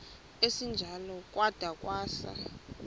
esinjalo kwada kwasa